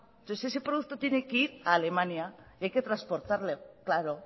entonces ese producto tiene que ir a alemania y hay transportarlo claro